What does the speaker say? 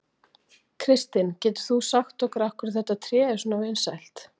Kristinn, getur þú sagt okkur af hverju þetta tré er svona vinsælt?